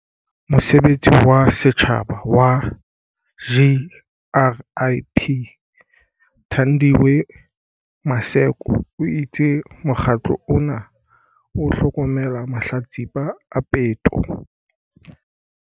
Mosebeletsi wa setjhaba wa GRIP, Thandiwe Maseko, o itse mokgatlo ona o hlokomela mahlatsipa a peto.